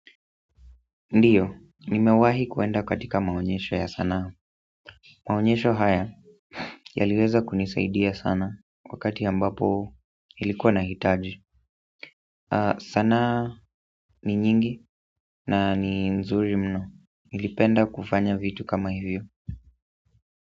Ndiyo, nimewahi kuenda katika maonyesho ya sanaa maonyesho haya yaliweza kunisaidia sana wakati ambapo nilikuwa nahitaji sanaa ni nyingi na ni nzuri mno, nilipenda kufanya vitu kama hivyo.